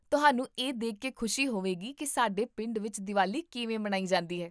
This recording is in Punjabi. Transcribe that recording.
ਤੁਹਾਨੂੰ ਇਹ ਦੇਖ ਕੇ ਖੁਸ਼ੀ ਹੋਵੇਗੀ ਕੀ ਸਾਡੇ ਪਿੰਡ ਵਿੱਚ ਦੀਵਾਲੀ ਕਿਵੇਂ ਮਨਾਈ ਜਾਂਦੀ ਹੈ